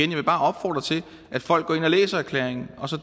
vil bare opfordre til at folk går ind og læser erklæringen og